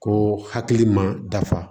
Ko hakili man dafa